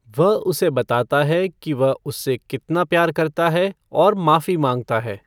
वह उसे बताता है कि वह उससे कितना प्यार करता है और माफी मांगता है।